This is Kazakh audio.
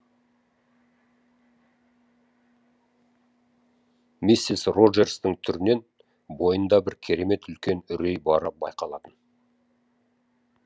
миссис роджерстің түрінен бойында бір керемет үлкен үрей бары байқалатын